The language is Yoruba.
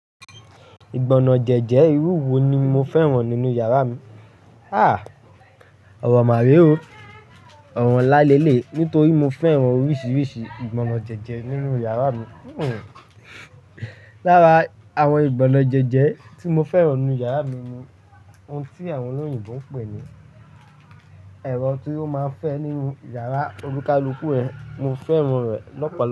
Ìgbọná jẹ́jẹ́ irú wo ni mo fẹ́ràn nínú yàrá mi? Háà! Ọ̀rọ̀ má re o. Ọ̀rọ́ nlá leléyi. Nítorí mo fẹ́ràn oríṣiríṣi ìgbọná jẹ́jẹ́ nínú yàrá mi. Hhm! Lára àwọn ìgbọná jẹ́jẹ́ tí mo fẹ́ràn nínú yàrá mi ni ohun tí àwọn olóyìnbo ń pè ní ẹ̀rọ tí ó máa ń fẹ́ nínú yàrá, olukaluku, mo fẹ́ràn rẹ̀ lọ́pọ̀lọ̀.